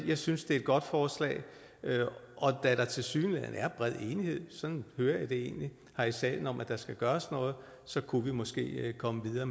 jeg synes det er et godt forslag og da der tilsyneladende er bred enighed og sådan hører jeg det egentlig her i salen om at der skal gøres noget så kunne vi måske komme videre